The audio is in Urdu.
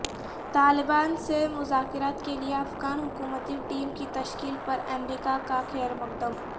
طالبان سے مذاکرات کے لیے افغان حکومتی ٹیم کی تشکیل پر امریکہ کا خیر مقدم